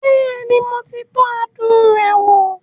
Bẹ́ẹ̀ni, mo ti tọ́ adùn rẹ̀ wò